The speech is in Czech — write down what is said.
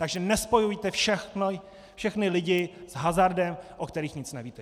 Takže nespojujte všechny lidi s hazardem, o kterých nic nevíte.